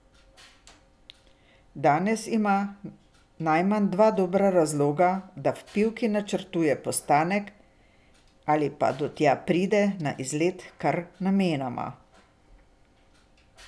Danes ima najmanj dva dobra razloga, da v Pivki načrtuje postanek ali pa da tja pride na izlet kar namenoma.